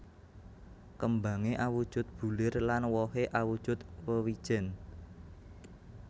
Kêmbangé awujud bulir lan wohé awujud wêwijèn